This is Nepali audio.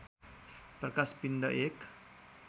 प्रकाश पिण्ड एक